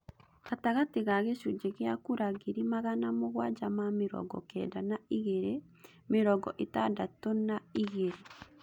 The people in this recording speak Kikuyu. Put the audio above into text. Gatagatĩ ga gĩcunjĩ gĩa kura ngiri magana mũgwanja ma mĩrongo Kenda na igĩrĩ, mĩrongo ĩtandatũna igĩrĩ